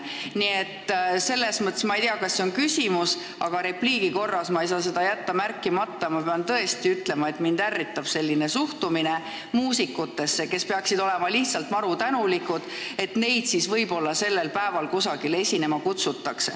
Nii et selles mõttes – ma ei tea, kas see on küsimus, aga repliigi korras, ma ei saa seda jätta märkimata – ma pean tõesti ütlema, et mind ärritab selline suhtumine muusikutesse, kes peaksid olema maru tänulikud, kui neid kutsutakse võib-olla sellel päeval kusagile esinema.